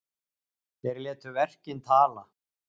Þeir láta verkin tala